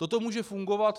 Toto může fungovat.